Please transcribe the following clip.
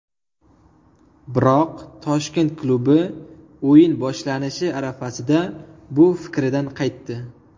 Biroq Toshkent klubi o‘yin boshlanishi arafasida bu fikridan qaytdi.